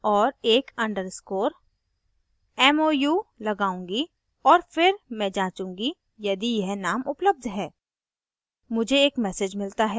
मैं यहाँ जाऊँगी और एक underscore _ mou लगाउंगी और फिर मैं जांचूंगी यदि यह name उपलब्ध है